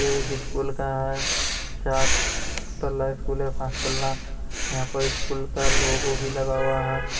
ये स्कूल का है चार तल्ला पांच तल्ला है। यहाँ पे स्कूल का लोगो भी लगा हुआ है ।